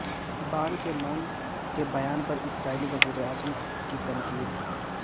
بان Ki moon کے بیان پر اسرائیلی وزیراعظم کی تنقید